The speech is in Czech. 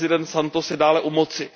Prezident Santos je dále u moci.